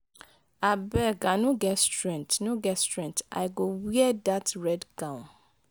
abeg i no get strength no get strength i go wear dat red gown.